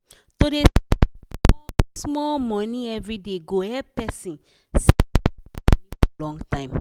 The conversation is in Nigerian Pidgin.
to dey save small-small money everyday go help person save better money for long time.